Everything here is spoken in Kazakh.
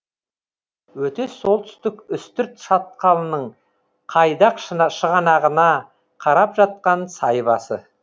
өтес солтүстік үстірт шатқалының қайдақ шығанағына қарап жатқан сай басы